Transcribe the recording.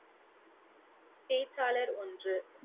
பேச்சாளர் ஒன்று